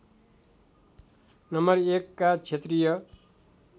नं १ का क्षेत्रीय